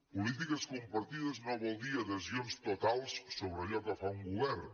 polítiques compartides no vol dir adhesions totals sobre allò que fa un govern